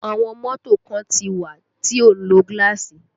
Àwọn mọ́tò kan ti wà tí ó ń lo gaasi